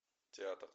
театр